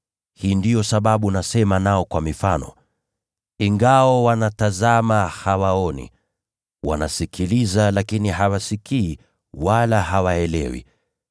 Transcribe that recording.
Hii ndiyo sababu nasema nao kwa mifano: “Ingawa wanatazama, hawaoni; wanasikiliza, lakini hawasikii, wala hawaelewi.